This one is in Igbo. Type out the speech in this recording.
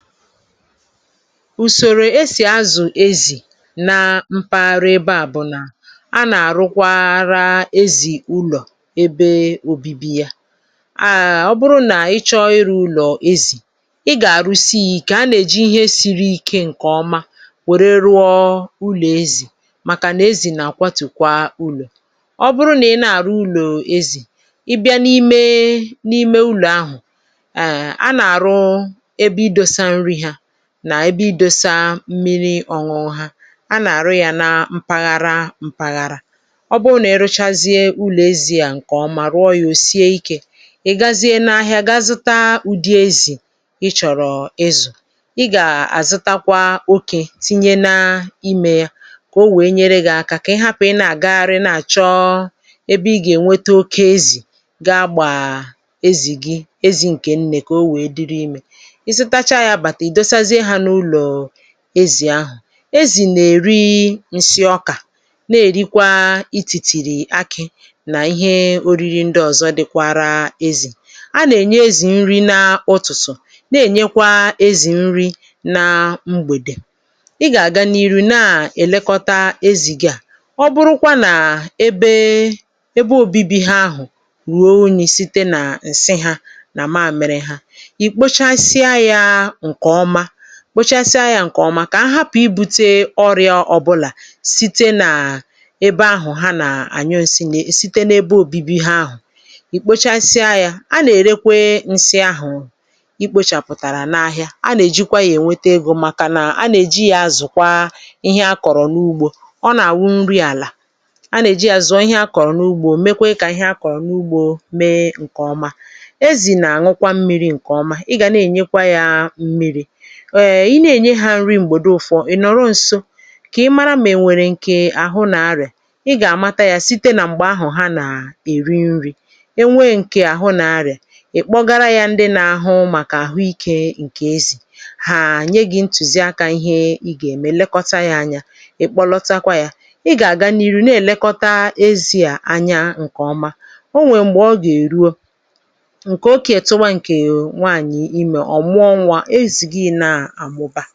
Usòrò esì azụ̀ ezì na mpaghara ebe à bụ̀ nà; a nà-àrụkwara ezì ụlọ̀ ebe obibi yȧ. um Ọ bụrụ nà ị chọọ ịrụ ụlọ̀ ezì ị gà-àrụsị yȧ ike, a nà-èji ihe siri ike ǹkè ọma wère rụọ ụlọ̀ ezì, màkà nà ezì nà-àkwatùkwa ụlọ̀. Ọ bụrụ nà ị na-àrụ ụlọ̀ ezì, ị bịa n’ime n’ime ụlọ̀ ahụ̀;[um] a nà àrụ ebe idosa nri ha, na ebe idosa mmiri ọṅụṅụ ha. A nà-àrụ yȧ na mpaghara mpaghara, ọ bụ nà iruchazie ụlọ̀ ezì à ǹkè ọ mà rụọ yȧ ò sie ikė; ị̀ gazie n’ahịa ga-azụta ụ̀dị ezì ị chọ̀rọ̀ izù. Ị gà-àzụtakwa okė tinye na imė yȧ kà o wèe nyere gị̇ akȧ, kà ị hapụ̀ ị na-àgagharị na-àchọ ebe ị gà-ènweta oke ezì ga-àgbà ezì gị ezì ǹkè nnè kà o wèe dịrị imė. Ịzụtacha ya bata, idosa zie ha na-ụlọ ezì ahụ̀. Ezì nà-èri ǹsị ọkà, na-èrikwa itìtìrì akị̇ nà ihe oriri ndị ọ̀zọ dịkwara ezì. A nà-ènye ezì nri n’ụ̀tụtụ̀, na-ènyekwa ezì nri na mgbèdè. Ị gà-àga n’iru na-èlekọta ezì gị à. Ọ bụrụ kwa nà ebe ebe obibi ha ahụ̀ ruo unyi sị́te nà ǹsị hȧ nà mamiri ha;ị kpochasịa yȧ ǹkè ọma kpochasia ya nke ọma, kà ha hapụ̀ ibu̇tė ọrịȧ ọbụlà site na ebe ahụ̀ ha nà-ànyụ ǹsị na site n’ebe obibi ha ahụ̀ ì kpochasịa yȧ. A nà-èrekwe ǹsị ahụ̀ i kpochàpụ̀tàrà n’ahịà, a nà-èjikwa yȧ ènwete egȯ, màkà nà a nà-èji yȧ zụ̀kwa ihe akọ̀rọ̀ n’ugbȯ, ọ nà-àwụ nri àlà. A nà-èji yȧ zụọ ihe akọ̀rọ̀ n’ugbȯ, mekwe kà ihe akọ̀rọ̀ n’ugbȯ mee ǹkè ọma. Ezì nà-àṅụkwa mmiri̇ ǹkè ọma, ị gà na-ènyekwa yȧ mmiri̇. [um]Ị nà-ènye hȧ nri̇ m̀gbèdo ụ̀fọ̀ ị̀ nọ̀rọ nsọ, kà ị mara ma enwèrè ǹkè àhụ nà arị̀à; ị gà-àmata yȧ site nà m̀gbè ahụ̀ ha nà-èri nri̇ e nwee ǹkè àhụ nà arị̀à, ị̀ kpọgara yȧ ndị nȧ-ahụ màkà àhụ ikė ǹkè ezì. Hàà nye gị̀ ntùzi akȧ ihe ị gà-ème lekọta yȧ anya, ị̀ kpọlọtakwa yȧ. Ị gà-àga n'iru na-èlekọta ezi̇ à anya ǹkè ọma. O nwèrè m̀gbè ọ gà-èruo, ǹkè okè tuba ǹkè nwaànyị̀ imè;ọ mụọ nwȧ ézị gi na amụba.